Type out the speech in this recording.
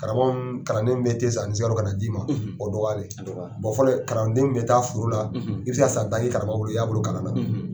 Karamɔgɔ min ni kalanden bɛ te san ani sugaro ka na d'i ma, o dɔgyalen, fɔlɔ kalanden bɛ taa foro la i bɛ se ka san tan kɛ i y'a bolo kalan na.